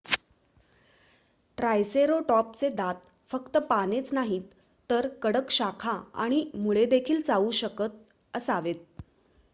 ट्रायसेरोटॉपचे दात फक्त पानेच नाहीत तर कडक शाखा आणि मुळेदेखील चावू शकत असावेत